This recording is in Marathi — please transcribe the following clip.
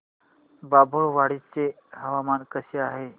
बाभुळवाडी चे हवामान कसे आहे